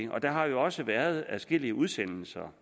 der har jo også været adskillige udsendelser